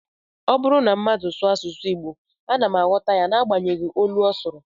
Ọ bụrụ na mmadụ sụọ asụsụ Igbo, ana m aghọta n'agbanyeghị olu ọ sụrụ